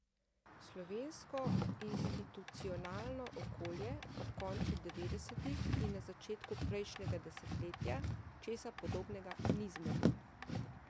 Slovensko institucionalno okolje ob koncu devetdesetih in na začetku prejšnjega desetletja česa podobnega ni zmoglo.